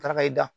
Taara ka i da